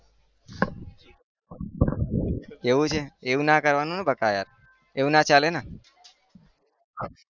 એવું છે એવું ના કરવાનું બકા યાર એવું ના ચાલેને